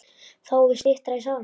Þá er styttra í sálina.